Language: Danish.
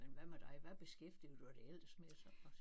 Men hvad med dig hvad beskæftiger du dig ellers med så?